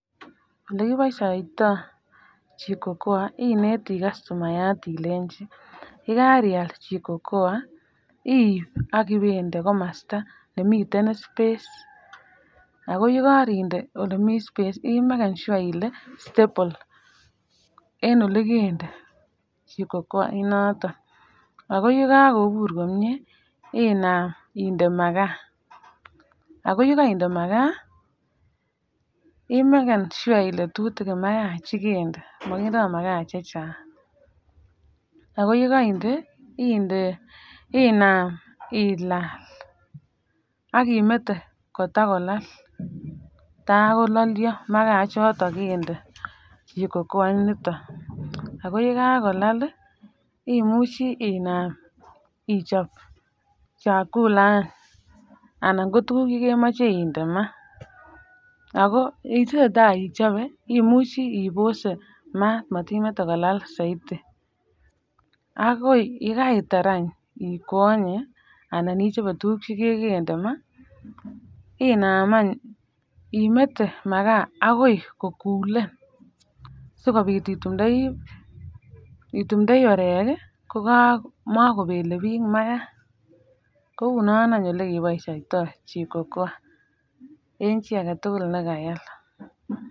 Ole kiboisioytoo jiko koa ineti customayat Ilenjin yikariyat jiko koa iib ak ibeinde komasta nemiten space ago yekarinde ole miten space Ii magen sure Ile stable en olekende jiko koa inoton ago kikakobur komnyeee inam indee makaa ago yekarinde makaa ii meken sua Ile tutigin makaa chekende makindo makaa chechang ago yekarinde inde inam ak ilal ak imeten kotakolal takolalio makaa ichoton kende jiko koa inoton ago yekolal imuche inam ichop chakula anan kotuguk chekemache indee maa ago itesetai ichope imuchi ibose maat motimete kokal saiti ago yekaritar ikwonye anan ichope tuguk chekende maa Inaam any imete makaa ago kokulen sikobit itumdoi orek ko makobelebik ko unon any olekeboishoytoo jiko koa en chii agetugul ne kayal.